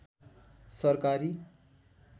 सरकारी